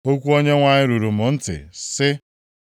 Okwu Onyenwe anyị ruru m ntị, sị,